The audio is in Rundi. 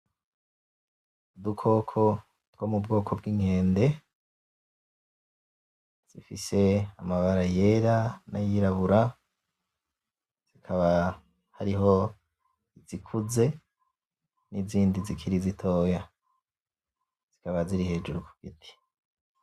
Udukoko two mubwoko bw' inkende, dufise amabara yera n'ayirabura, hakaba hariho izikuze, nizindi zikiri zitoya, zikaba ziri hejuru kugiti.